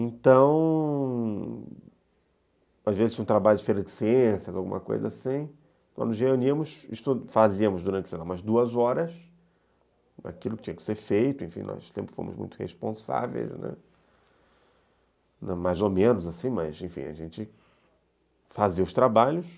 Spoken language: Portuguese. Então... às vezes um trabalho de férias de ciências, alguma coisa assim, nós nos reuníamos, fazíamos durante sei lá umas duas horas aquilo que tinha que ser feito, enfim, nós sempre fomos muito responsáveis, né, mais ou menos assim, mas, enfim, a gente fazia os trabalhos.